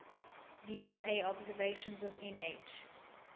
vla observations of nh